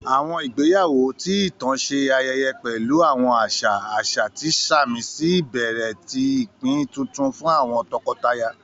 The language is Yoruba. Àwọn ìgbéyáwọ́, ti itan ṣe ayẹyẹ pẹlu àwọn aṣa aṣa, ti samisi ibẹrẹ ti ipin tuntun fun àwọn tọkọtaya.